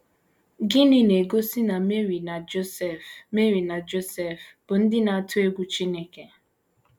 Gịnị na - egosi na Meri na Josef Meri na Josef bụ ndị na - atụ egwu Chineke?